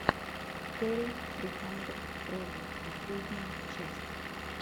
кэрри сри хандрэд твэлв последняя часть